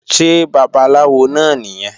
Ṣé babaláwo náà nìyẹn?